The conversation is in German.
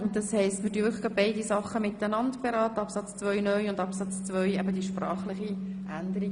Danke, das heisst wir beraten die beiden Anträge zusammen, jenen zu Artikel 15 Absatz 2 (neu) sowie jenen betreffend die sprachliche Änderung.